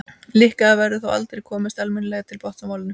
líklega verður þó aldrei komist almennilega til botns í málinu